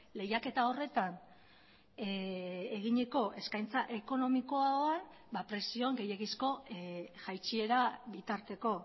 lehiaketa horretan eginiko eskaintza ekonomikoan prezioan gehiegizko jaitsiera bitarteko